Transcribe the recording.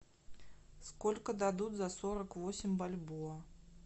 сколько дадут за сорок восемь бальбоа